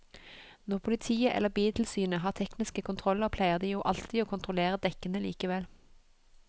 Når politiet eller biltilsynet har tekniske kontroller pleier de jo alltid å kontrollere dekkene likevel.